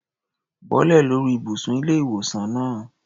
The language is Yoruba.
Bọ́lẹ̀ lórí ìbùsùn ilé-ìwòsaln náà.